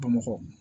Bamakɔ